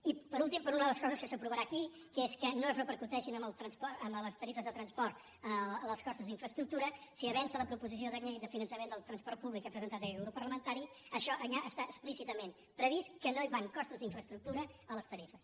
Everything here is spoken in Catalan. i per últim per una de les coses que s’aprovarà aquí que és que no es repercuteixin a les tarifes de transport els costos d’infraestructura si avança la proposició de llei de finançament del transport públic que ha presentat aquest grup parlamentari això allà està explícitament previst que no hi van costos d’infraestructura a les tarifes